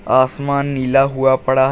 आसमान नीला हुआ पड़ा है।